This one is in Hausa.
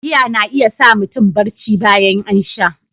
Giya na iya sa mutum barci bayan an sha.